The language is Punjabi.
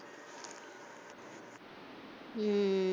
ਹਮ